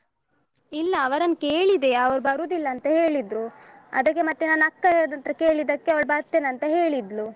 ಇಲ್ಲ ಅವರನ್ನ್ ಕೇಳಿದೆ ಅವರು ಬರುವುದಿಲ್ಲ ಅಂತ ಹೇಳಿದ್ರು ಅದಕ್ಕೆ ಮತ್ತೆ ನನ್ನ ಅಕ್ಕನ ಹತ್ರ ಕೇಳಿದ್ದಕ್ಕೆ ಅವಳು ಬರ್ತೆನಂತ ಹೇಳಿದ್ಲು.